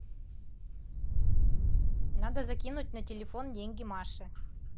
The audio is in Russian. надо закинуть на телефон деньги маше